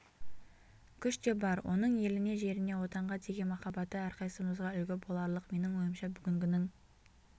күш те бар оның еліне жеріне отанға деген махаббаты әрқайсымызға үлгі боларлық менің ойымша бүгінгінің